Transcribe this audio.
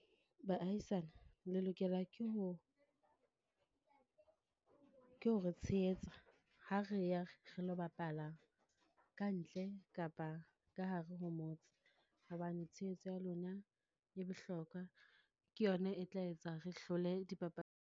Baahisane, le lokela ke ho, ke ho re tshehetsa ha re ya re lo bapala kantle kapa ka hare ho motse. Hobane tshehetso ya lona e bohlokwa, ke yona e tla etsa re hlole .